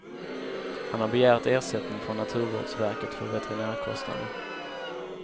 Han har begärt ersättning från naturvårdsverket för veterinärkostnader.